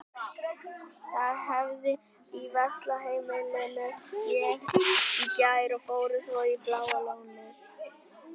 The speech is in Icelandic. Þær æfðu í Valsheimilinu í gær og fóru svo í Bláa lónið.